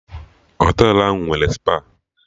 Họtelụ ahụ nwere spa